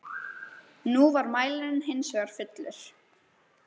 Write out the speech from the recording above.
Nú var mælirinn hins vegar fullur.